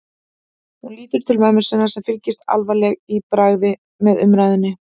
Hún lítur til mömmu sinnar sem fylgist alvarleg í bragði með umræðunni.